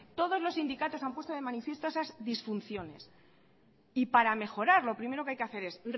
todos los sindicatos han puesto de manifiesto esas disfunciones y para mejorar lo primero que hay que hacer es